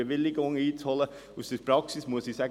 Aus der Praxis muss ich sagen: